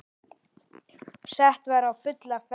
Sett var á fulla ferð.